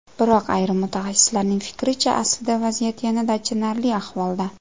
Biroq ayrim mutaxassislarning fikricha, aslida vaziyat yanada achinarli ahvolda.